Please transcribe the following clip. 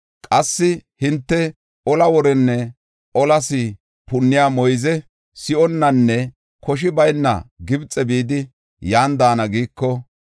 qassi hinte, ‘Ola worenne olas punniya moyze si7onnanne koshi bayna Gibxe bidi, yan daana’ giiko,